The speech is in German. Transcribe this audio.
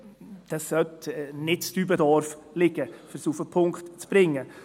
Dieses soll nicht in Dübendorf liegen, um es auf den Punkt zu bringen.